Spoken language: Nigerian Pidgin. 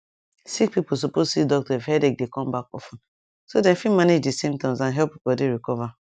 sick people suppose see doctor if headache dey come back of ten so dem fit manage di symptoms and help body recover